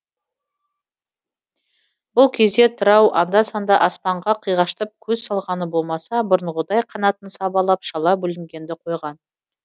бұл кезде тырау анда санда аспанға қиғаштап көз салғаны болмаса бұрынғыдай қанатын сабалап шала бүлінгенді қойған